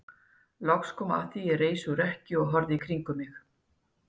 Loks kom að því að ég reis úr rekkju og horfði í kringum mig.